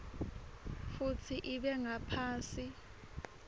futsi ibe ngaphasi